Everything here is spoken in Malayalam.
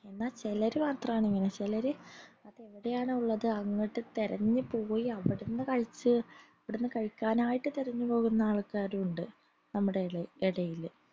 എന്ന ചിലർ മാത്ര ആൺ ഇങ്ങനെ ചിലർ അത് എവിടെയാണ് ഉള്ളത് അങ്ങോട്ട് തെരഞ്ഞു പോയി അവിടെന്ന് കഴിച് അവിടെന്ന് കഴിക്കാനായിട്ട് തെരഞ്ഞു പോകുന്ന ആൾക്കാരുണ്ട് നമ്മട ഇടയിൽ